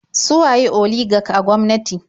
Su waye oligak a gwamnati?